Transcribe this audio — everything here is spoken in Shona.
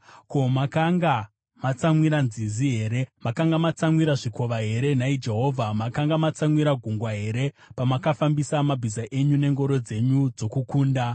Ko, makanga matsamwira nzizi here, nhai Jehovha? Makanga matsamwira zvikova here, nhai Jehovha? Makatsamwira gungwa here pamakafambisa mabhiza enyu nengoro dzenyu dzokukunda?